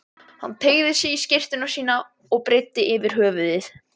Hann teygði sig í skyrtuna sína og breiddi yfir höfuð.